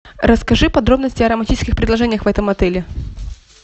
расскажи подробности о романтических предложениях в этом отеле